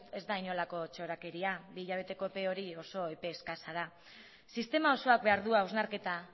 ez da inolako txorakeria bi hilabeteko epe hori oso epe eskasa da sistema osoak behar du hausnarketa